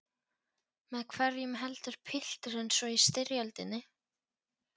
Með hverjum heldur pilturinn svo í styrjöldinni?